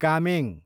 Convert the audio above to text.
Kameng